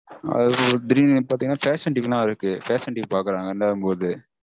அதுல திடீர்னு வந்து பாத்தீங்கனா fashion TV லாம் இருக்கு fashion TV பாக்கறாங்க இல்லாதபோது